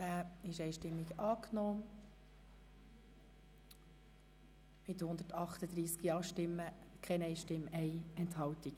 Sie haben den Antrag angenommen mit 138 Ja-Stimmen ohne Gegenstimmen und bei 1 Enthaltung.